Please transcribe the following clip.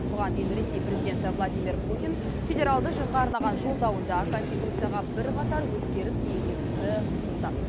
бұған дейін ресей президенті владимир путин федералды жиынға арнаған жолдауында конституцияға бірқатар өзгеріс енгезуді ұсынды